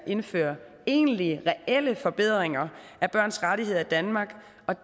indføre egentlige reelle forbedringer af børns rettigheder i danmark